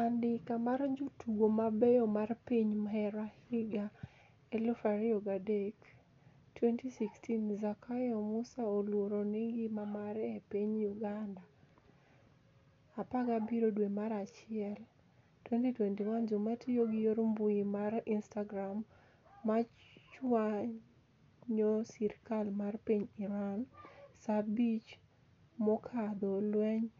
Anidika mar jotugo mabeyo mar piniy hare higa2003 2016. Zakayo MuSaa oluoro nigima mare epiniy uganida 17 dwe mar achiel 2021 jomatiyo gi yor mbui mar inistgram machwaniyo sirkal mar piniy Irani. Saaa 5 mokadho lweniy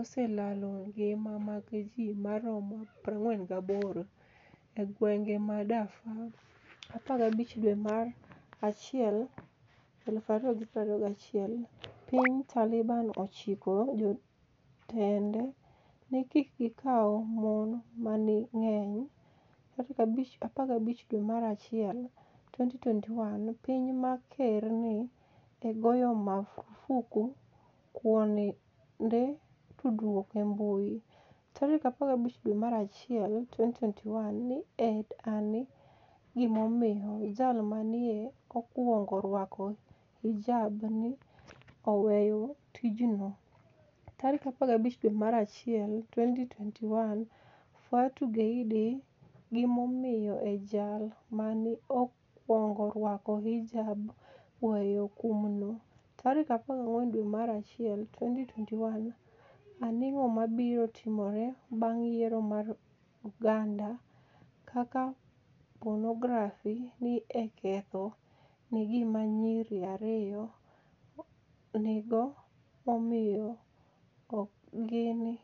oselalo nigima mag ji maromo 48 e gwenige ma Darfur. 15 dwe mar achiel 2021 piniy Talibani ochiko jotenide nii kik gikaw moni manig'eniy. 15 dwe mar achiel, 2021 Piniy ma ker ni e ogoyo marfuk kuonide tudruok embui. 15dwe mar achiel,2021 ni e ani e gimomiyo jal ma ni e okwonigo rwako hijab ni e 'oweyo tijno . '15 dwe mar achiel, 2021 Fatu Geidi gimomiyo ejal ma ni e okwonigo rwako hijab. ‘weyo kumno�� 14 dwe mar achiel 2021 Anig'o mabiro timore banig' yiero mar Uganida? Kaka ponografi ni e oketho nigima niyiri 2. Anig'o momiyo Oginia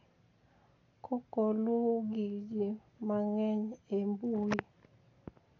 Kokoiluwo gi ji manigeniy e mbui.